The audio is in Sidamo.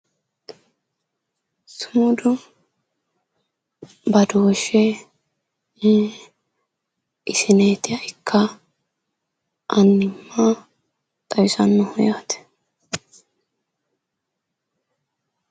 Sumudu badooshshe isinidiha ikka, annimma xawisannoho yaate